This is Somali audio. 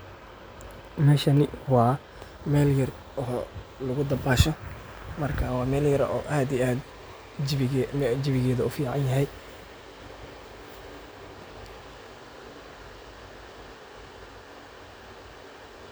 meshani wa meel yar lagudabasho marka wa meel yaar oo jawigia aad uuficanyahy